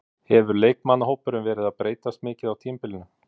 Hefur leikmannahópurinn verið að breytast mikið á tímabilinu?